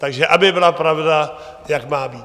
Takže aby byla pravda, jak má být.